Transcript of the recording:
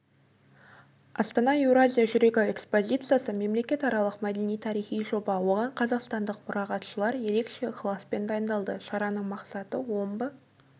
астана еуразия жүрегі экспозициясы мемлекетаралық мәдени-тарихи жоба оған қазақстандық мұрағатшылар ерекше ықыласпен дайындалды шараның мақсаты омбы